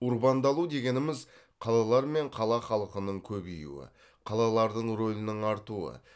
урбандалу дегеніміз қалалар мен қала халқының көбеюі қалалардың ролінің артуы